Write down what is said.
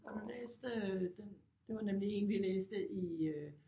Har du læst øh den det var nemlig én vi læste i øh